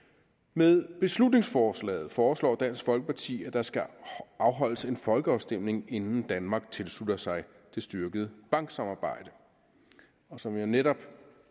med beslutningsforslaget foreslår dansk folkeparti at der skal afholdes en folkeafstemning inden danmark tilslutter sig det styrkede banksamarbejde og som jeg netop